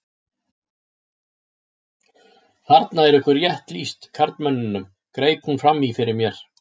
Þarna er ykkur rétt lýst karlmönnunum, greip hún fram í fyrir mér.